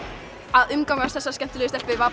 að umgangast þessar skemmtilegu stelpur var